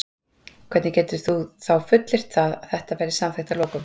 Hvernig getur þú þá fullyrt það að þetta verði samþykkt að lokum?